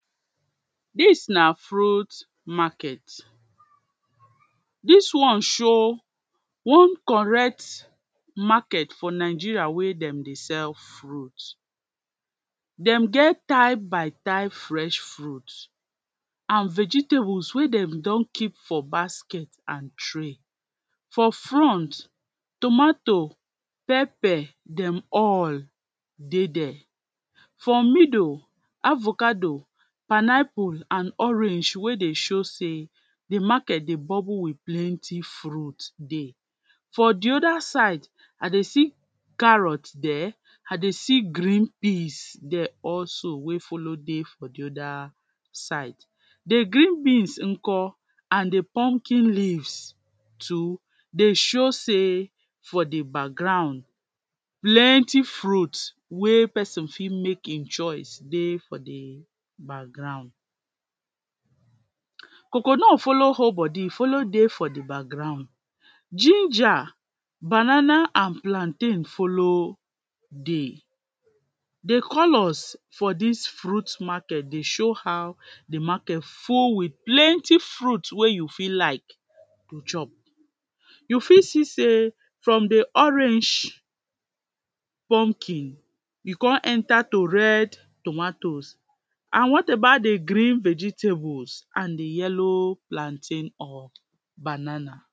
dis na fruit market dis one show one correct market for nigeria wey dem dey sell fruit dem get type by type fresh fruit an vegetables wey dem don keep for basket an tray for front tommato, pepper dem all dey there for middle, avocado, pineapple, an orange wey dey show sey di market dey bubble wit plenty friut dey for di oda side i dey see carrot there i dey se green peas dey also wey follow dey for di oda side di green peas nko an di pumkin leaves too dey show sey for di background plenty fruit dey wey person fit make him choice dey for di background coconut follow hold body, e follow dey for di background ginger, banana an plantain follow dey de colours for dis fruit market dey show how the market full wit plenty fruits wey you fit like tu chop you fit see sey from the orange, pumkin e come enter to red tomatoes an what about de green vegetables an di yellow plantain or banana